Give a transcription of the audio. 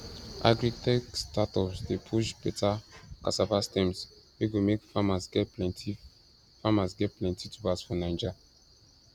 agritech startups dey push beta cassava stems wey go make farmers get plenty farmers get plenty tubers for naija